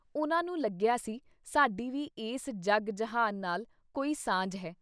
ਉਨ੍ਹਾਂ ਨੂੰ ਲੱਗਿਆ ਸੀ - ਸਾਡੀ ਵੀ ਇਸ ਜਗ-ਜਹਾਨ ਨਾਲ ਕੋਈ ਸਾਂਝ ਹੈ।